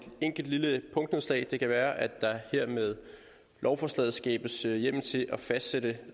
enkelt lille punktnedslag det kan være at der med lovforslaget her skabes hjemmel til at fastsætte